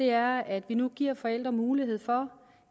er at vi nu giver forældre mulighed for